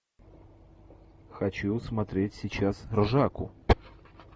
хочу смотреть сейчас ржаку